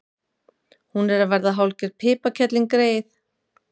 Hún er að verða hálfgerð piparkerling, greyið.